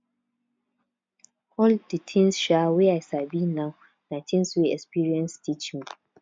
all di tins um wey i sabi now na tins wey experience teach me